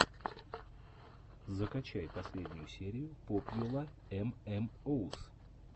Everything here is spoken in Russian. закачай последнюю серию попьюла эм эм оус